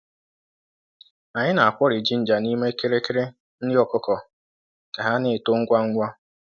Anyị na-akwori jinja n’ime kirikiri nri ọkụkọ ka ha na-eto ngwa ngwa.